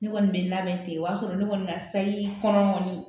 Ne kɔni bɛ labɛn ten o y'a sɔrɔ ne kɔni ka sayi kɔnɔ kɔni